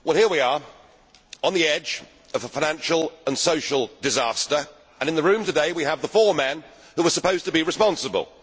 Mr President, here we are, on the edge of a financial and social disaster, and in the room today we have the four men who were supposed to be responsible.